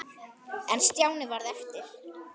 En Stjáni varð eftir.